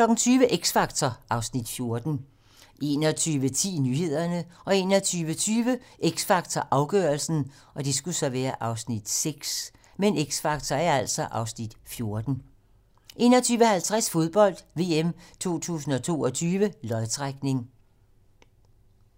20:00: X Factor (Afs. 14) 21:10: Nyhederne 21:20: X Factor - afgørelsen (Afs. 6) 21:50: Fodbold: VM 2022 - lodtrækning